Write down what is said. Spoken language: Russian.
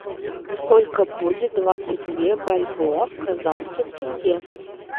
сколько будет двадцать две бальбоа в казахских тенге